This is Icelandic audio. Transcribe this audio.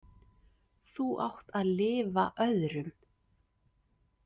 Þú átt að lifa öðrum.